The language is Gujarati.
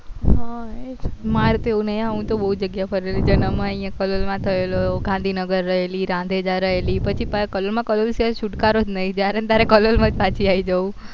મારે તો એવું નહી હું તો બહુ જગ્યાએ ફરેલી છે અને હવ કલોલ માં થેલો ગાંધીનગર રેહેલી રાંધેજા રહેલી પછી પાછી કોલોલ કલોલ માં સિવાય કઈ છુટકારો જ નહી જયારે ન ત્યારે કલોલ માં જ પાછી આવી જયુ